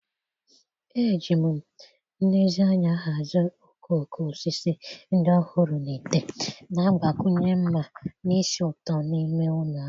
Eji m nlezianya hazie okooko osisi ndị ọhụrụ na ite, na-agbakwunye mma na ísì ụtọ n'ime ụlọ ahụ.